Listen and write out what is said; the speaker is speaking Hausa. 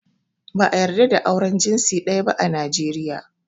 Ba ã yarda da auren jinsi daya ba ã Najeriya.